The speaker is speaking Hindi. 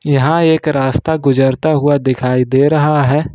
यहां एक रास्ता गुजरता हुआ दिखाई दे रहा है।